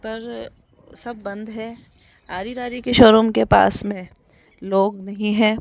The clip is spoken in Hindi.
पर सब बंद है आरी धारी के शोरूम के पास में लोग भी हैं।